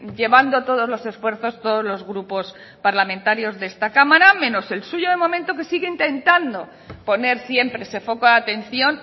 llevando todos los esfuerzos todos los grupos parlamentarios de esta cámara menos el suyo de momento que sigue intentando poner siempre ese foco de atención